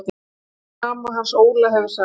Jóna mamma hans Óla hefur sagt.